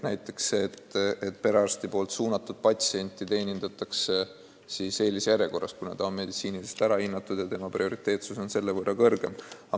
Näiteks perearsti suunatud patsienti teenindatakse eelisjärjekorras, kuna tema seisund on meditsiiniliselt ära hinnatud ja tema prioriteetsus on selle võrra suurem.